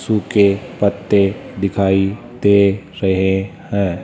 सूखे पत्ते दिखाई दे रहे हैं।